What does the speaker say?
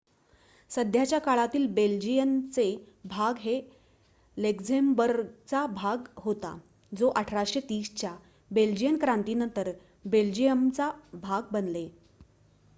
सध्याच्या काळातील बेल्जियनचे भाग हे लक्झेम्बर्गचा भाग होता जो 1830 च्या बेल्जियन क्रांतीनंतर बेल्जियमचा भाग बनले